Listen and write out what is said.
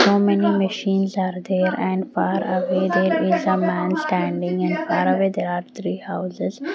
so many machines are there and far away there is a man standing and far away there are three houses.